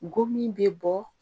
Gomin bɛ bɔ